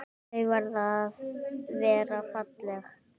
Þau verða að vera falleg.